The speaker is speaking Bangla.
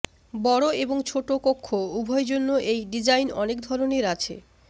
বড় এবং ছোট কক্ষ উভয় জন্য এই ডিজাইন অনেক ধরনের আছে